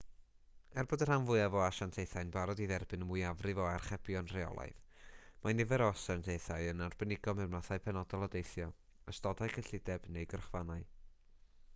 er bod y rhan fwyaf o asiantaethau'n barod i dderbyn y mwyafrif o archebion rheolaidd mae nifer o asiantaethau yn arbenigo mewn mathau penodol o deithio ystodau cyllideb neu gyrchfannau